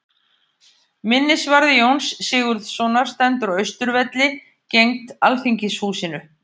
Minnisvarði Jóns Sigurðssonar stendur á Austurvelli, gegnt Alþingishúsinu.